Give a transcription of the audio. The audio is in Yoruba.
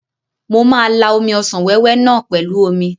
Mo ma la omi ọsàn wéwé náà pẹ̀lú omi.